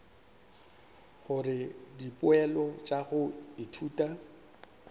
gore dipoelo tša go ithuta